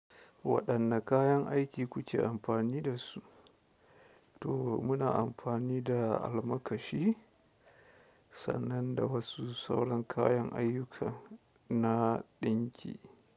Waɗanne kayan aiki kuke amfani da su? To muna amfani da almakashi sannan da wasu sauran kayan ayukan na ɗinki.